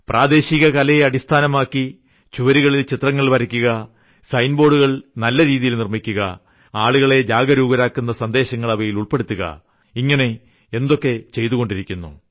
പ്രാദേശിക കലയെ അടിസ്ഥാനമാക്കി ചുവരുകളിൽ ചിത്രങ്ങൾ വരയ്ക്കുക സൈൻബോർഡുകൾ നല്ല രീതിയിൽ നിർമ്മിക്കുക ആളുകളെ ജാഗരൂകരാക്കുന്ന സന്ദേശങ്ങൾ അവയിൽ ഉൾപ്പെടുത്തുക ഇങ്ങനെ എന്തൊക്കെ ചെയ്തുകൊണ്ടിരിക്കുന്നു